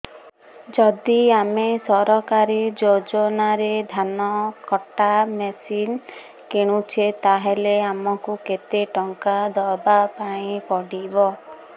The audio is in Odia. ଯଦି ଆମେ ସରକାରୀ ଯୋଜନାରେ ଧାନ କଟା ମେସିନ୍ କିଣୁଛେ ତାହାଲେ ଆମକୁ କେତେ ଟଙ୍କା ଦବାପାଇଁ ପଡିବ